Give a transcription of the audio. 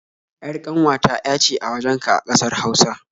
ƴar ƙanwata ƴa ce a wajenka a ƙasar Hausa